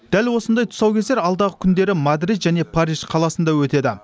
дәл осындай тұсаукесер алдағы күндері мадрид және париж қаласында өтеді